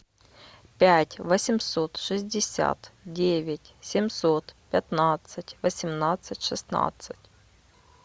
пять восемьсот шестьдесят девять семьсот пятнадцать восемнадцать шестнадцать